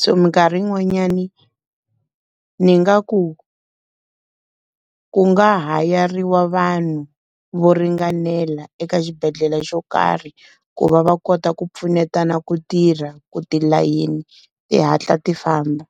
So minkarhi yin'wanyani, ni nga ku ku nga hayariwa vanhu vo ringanela eka xibedhlele xo karhi, ku va va kota ku pfunetana ku tirha ku tilayini ti hatla ti famba.